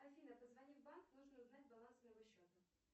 афина позвони в банк нужно узнать баланс моего счета